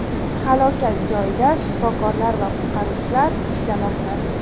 Halokat joyida shifokorlar va qutqaruvchilar ishlamoqda.